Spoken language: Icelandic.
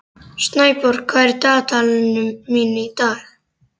Snæborg, hvað er í dagatalinu mínu í dag?